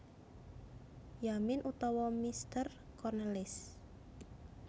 Yamin utawa Meester Cornelis